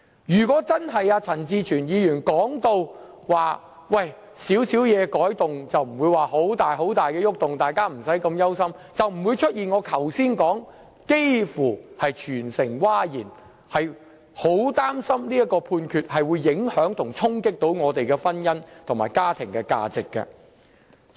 如果情況確如陳志全議員所說般，只是少許修改，並無重大變動，大家無須這麼憂心，那便不會出現我剛才說的"幾乎全城譁然"，因為大家也很擔心判決會影響及衝擊我們的婚姻和家庭價值。